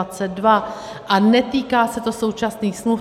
A netýká se to současných smluv.